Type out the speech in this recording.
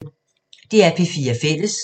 DR P4 Fælles